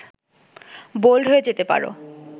bold হয়ে যেতে পারো